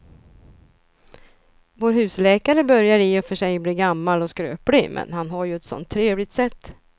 Vår husläkare börjar i och för sig bli gammal och skröplig, men han har ju ett sådant trevligt sätt!